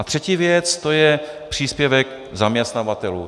A třetí věc, to je příspěvek zaměstnavatelů.